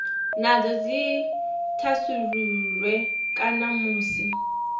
nadzo dzi thasululwe kana musi